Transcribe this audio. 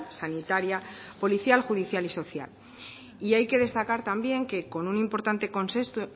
sanitaria policial judicial y social y hay que destacar también que con un importante consenso